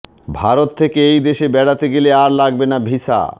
ভারত থেকে এই দেশে বেড়াতে গেলে আর লাগবে না ভিসা